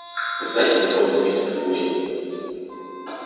вы знаете законы мистер куинн